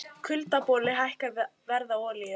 Kuldaboli hækkar verð á olíu